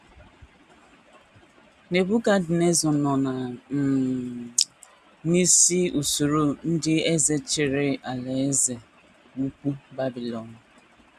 Nebukadneza nọ um n’isi usoro ndị eze chịrị Alaeze Ukwu Babilọn.